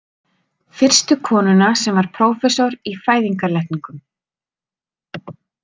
Fyrstu konuna sem var prófessor í fæðingarlækningum.